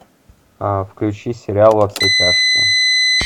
включи сериал во все тяжкие